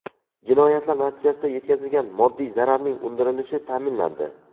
Jinoyatlar natijasida yetkazilgan moddiy zararning undirilishi ta’minlandi.